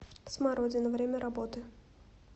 смородина время работы